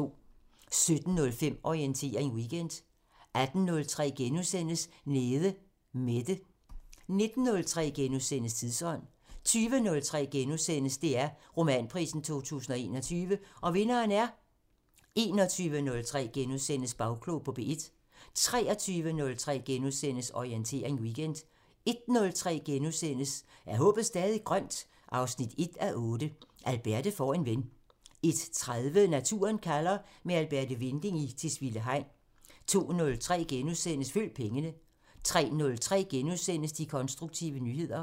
17:05: Orientering Weekend 18:03: Nede Mette * 19:03: Tidsånd * 20:03: DR Romanprisen 2021 – Og vinderen er... * 21:03: Bagklog på P1 * 23:03: Orientering Weekend * 01:03: Er håbet stadig grønt? 1:8 – Alberte får en ven * 01:30: Naturen kalder – med Alberte Winding i Tisvilde Hegn 02:03: Følg pengene * 03:03: De konstruktive nyheder *